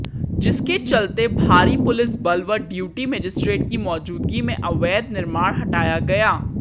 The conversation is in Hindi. जिसके चलते भारी पुलिस बल व ड्यूटी मजिस्ट्रेट की मौजूदगी में अवैध निर्माण हटाया गया